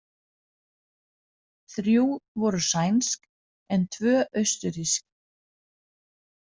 Þrjú voru sænsk en tvö austurrísk.